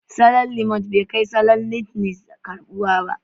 Salon Limonad bai kai salon notles karɓuwa ba